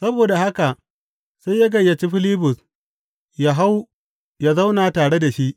Saboda haka sai ya gayyaci Filibus yă hau yă zauna tare da shi.